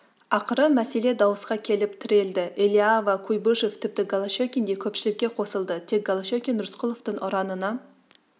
ақыры мәселе дауысқа келіп тірелді элиава куйбышев тіпті голощекин де көпшілікке қосылды тек голощекин рысқұловтың ұранына